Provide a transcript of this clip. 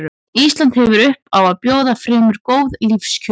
Ísland hefur upp á að bjóða fremur góð lífskjör.